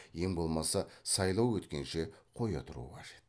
ең болмаса сайлау өткенше қоя тұру қажет